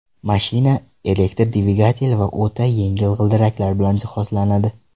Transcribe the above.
Mashina elektr dvigatel va o‘ta yengil g‘ildiraklar bilan jihozlanadi.